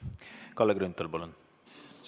Kalle Grünthal, palun!